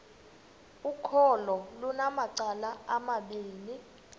ukholo lunamacala amabini